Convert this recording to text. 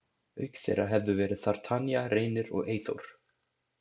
Auk þeirra hefðu verið þar Tanya, Reynir og Eyþór.